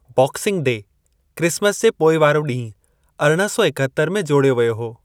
Boxing Day, Christmas जे पोइ वारो ॾींहुं, अरिड़हं सौ एकहतरि में जोड़ियो वियो हो।